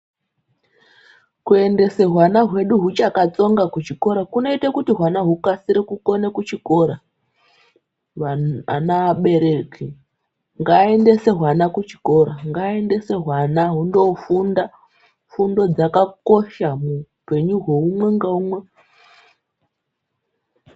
Kuendese hwana hwedu hwakachatsonga kuzvikora kunoite kuti hwana hwedu hukasire kukona kuchikora abereki ngaaendese hwana kuchikora ana hindofunda fundo dzakakosha muhupenyu hweumwe neumwe .